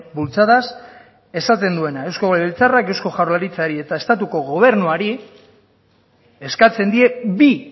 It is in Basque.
bultzadaz esaten duena eusko legebiltzarrak eusko jaurlaritzari eta estatuko gobernuari eskatzen die bi